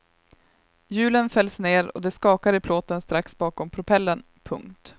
Hjulen fälls ner och det skakar i plåten strax bakom propellern. punkt